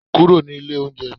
kúrò ní ilé oúnjẹ mi